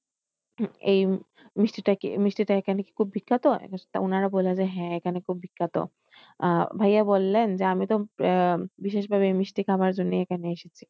এই মিষ্টিটা কি মিষ্টি টা এখানে খুব বিখ্যাত? তা উনারা বললেন যে হ্যাঁ এখানে খুব বিখ্যাত। আহ ভাইয়া বললেন আমি তো আহ বিশেষভাবে মিষ্টি খাবার জন্য এখানে এসেছি।